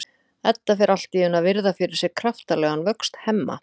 Edda fer allt í einu að virða fyrir sér kraftalegan vöxt Hemma.